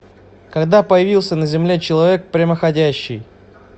когда появился на земле человек прямоходящий